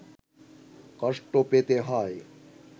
কষ্ট পেতে হয়